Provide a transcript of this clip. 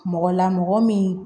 Mɔgɔ la mɔgɔ min